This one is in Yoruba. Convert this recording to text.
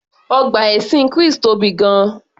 Ọgbà ẹṣin Chris tóbi gan-an